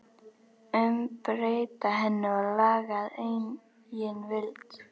Umbreyta henni og laga að eigin vild?